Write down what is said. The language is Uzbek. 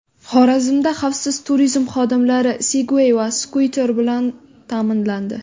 Xorazmda xavfsiz turizm xodimlari Sigway va skuter bilan ta’minlandi.